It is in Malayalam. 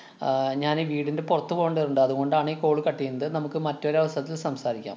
ആഹ് ഞാനേ വീടിന്‍റെ പുറത്ത് പോകേണ്ടതുണ്ട്. അതുകൊണ്ടാണ് ഈ call cut എയ്യുന്നത്. നമുക്ക് മറ്റൊരു അവസരത്തില്‍ സംസാരിക്കാം.